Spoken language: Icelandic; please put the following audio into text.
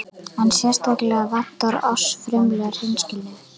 En sérstaklega vantar oss frumlega hreinskilni.